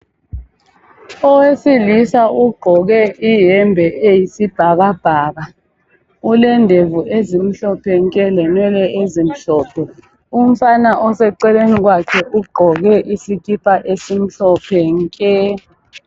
Owesilisa ugqoke iyembe eyisibhakabhaka ulendevu ezimhlophe nke lenwele ezimhlophe umfana oseceleni kwakhe ugqoke isikipa esimhlophe nke.